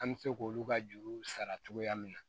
An bɛ se k'olu ka juru sara cogoya min na